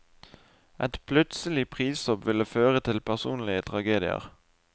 Et plutselig prishopp ville føre til personlige tragedier.